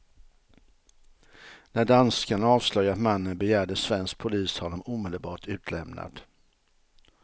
När danskarna avslöjat mannen begärde svensk polis honom omedelbart utlämnad.